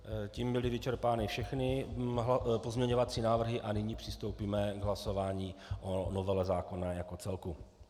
Tím byly vyčerpány všechny pozměňovací návrhy a nyní přistoupíme k hlasování o novele zákona jako celku.